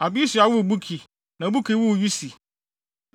Abisua woo Buki, na Buki woo Usi.